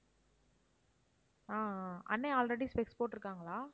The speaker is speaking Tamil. ஆஹ் ஆஹ் அண்ணன் already specs போட்டிருக்காங்களா?